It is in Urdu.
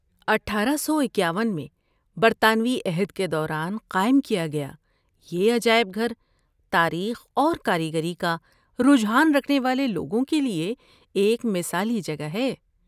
اٹھارہ سو اکاون میں برطانوی عہد کے دوران قائم کیا گیا یہ عجائب گھر تاریخ اور کاریگری کا رجحان رکھنے والے لوگوں کے لیے ایک مثالی جگہ ہے